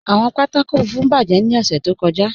Awọn pátákò fùnfún bájẹ̀ ni ọ̀ṣẹ̀ tó kọ́já.